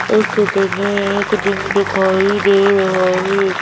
इस में एक जिम दिखाई दे रहा है।